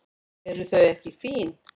Eru þau ekki fín?